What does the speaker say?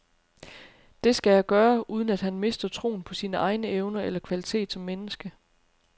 Det skal jeg gøre, uden at han mister troen på sine egne evner eller kvalitet som menneske.